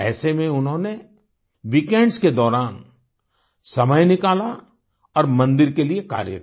ऐसे में इन्होंने वीकेंड्स के दौरान समय निकाला और मंदिर के लिए कार्य किया